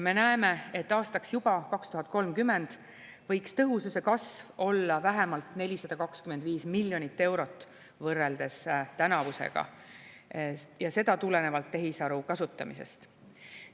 Me näeme, et juba aastaks 2030 võiks tõhususe kasv olla vähemalt 425 miljonit eurot võrreldes tänavusega ja seda tulenevalt tehisaru kasutamisest.